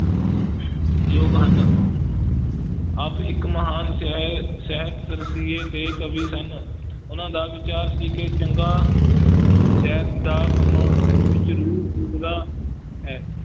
ਯੋਗ ਹਨ ਆਪ ਇਕ ਮਹਾਨ ਸਾਹਿ~ ਸਾਹਿਤ ਰਸੀਏ ਤੇ ਕਵੀ ਸਨ ਉਨਾਂ ਦਾ ਵਿਚਾਰ ਸੀ ਕਿ ਚੰਗਾ ਸਾਹਿਤ ਦਾ ਕੰਮਾਂ ਵਿੱਚ ਰੂਹ ਫੂਕਦਾ ਹੈ।